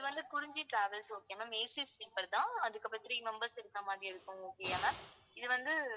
அது வந்து Kurinji travels okay யா ma'amACsleeper தான் அதுக்கப்புறம் three members இருக்க மாதிரி இருக்கும் okay யா ma'am இது வந்து